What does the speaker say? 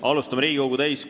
Austatud Riigikogu!